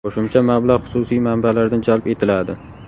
Qo‘shimcha mablag‘ xususiy manbalardan jalb etiladi.